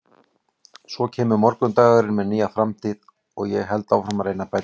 Svo kemur morgundagurinn með nýja framtíð og ég held áfram að reyna að bæta mig.